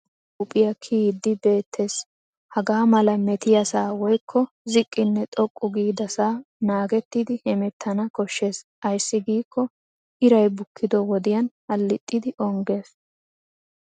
Asay deriya huuphphiyaa kiyiiddi beettes. Hagaa mala metiyaasaa woykko ziqqinne xoqqu giidasaa naagettidi hemettana koshshes ayssi giikko iray bukkido wodiyan halixxidi ongges.